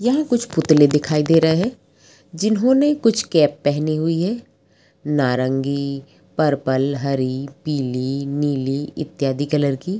यहाँ कुछ पुतले दिखाई दे रहे हैं जिन्होंने कुछ कैप पहनी हुई है नारंगी पर्पल हरी पीली नीली इत्यादि कलर की।